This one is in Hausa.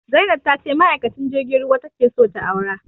Zainab ta ce ma'aikacin jirgin ruwa ta ke so ta aura